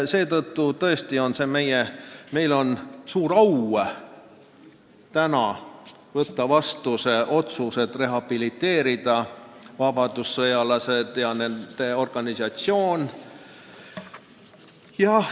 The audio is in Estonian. Seetõttu on meil suur au võtta täna vastu otsus rehabiliteerida vabadussõjalased ja nende organisatsioon.